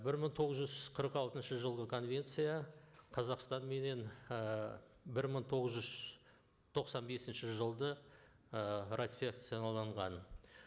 бір мың тоғыз жүз қырық алтыншы жылғы конвенция қазақстанменен ы бір мың тоғыз жүз тоқсан бесінші жылды ы